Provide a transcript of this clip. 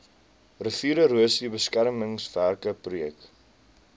riviererosie beskermingswerke projek